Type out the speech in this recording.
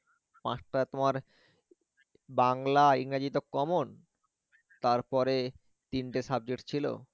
পাঁচটা তোমার বাংলা ইংরেজি তো common তারপরে তিনটে subject ছিল